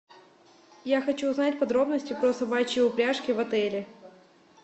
я хочу узнать подробности про собачьи упряжки в отеле